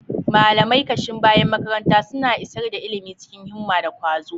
Malamai, kashin bayan makaranta, suna isar da ilimi cikin himma da kwazo.